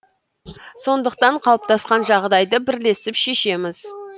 сондықтан қалыптасқан жағдайды бірлесіп шешеміз